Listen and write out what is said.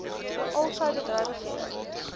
al sy bedrywighede